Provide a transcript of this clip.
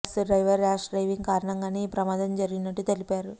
bus driver rash driving కారణంగానే ఈ ప్రమాదం జరిగినట్టు తెలిపారు